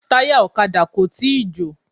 Táyà ọ̀kadà kò tíì jò.